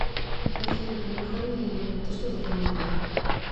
афина а на выходные ты что запланировала